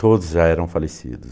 Todos já eram falecidos.